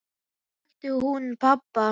Hvaðan þekkti hún pabba?